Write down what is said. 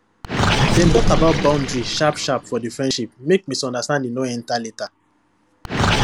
dem talk about boundary sharpsharp for the friendship make misunderstanding no enter later